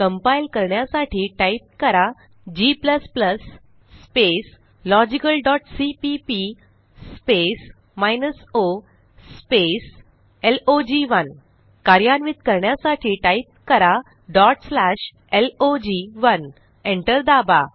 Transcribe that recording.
compile करण्यासाठी type करा g logicalसीपीपी o लॉग1 कार्यान्वित करण्यासाठी टाईप करा log1 एंटर दाबा